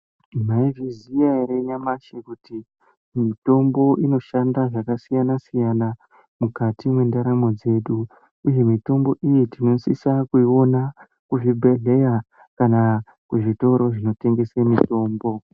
Mwai zviziya ere nyamashi kuti mitombo inoshanda zvakasiyana siyana mukati mwe ndaramo dzedu uye mitombo iyi tinosisa kuiona kuzvi bhedhlera kana kuzvitoro zvino tengese mitombo.